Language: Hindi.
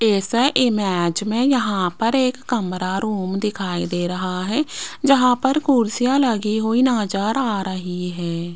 इस इमेज में यहां पर एक कमरा रूम दिखाई दे रहा है जहां पर कुर्सियां लगी हुई नजर रही है।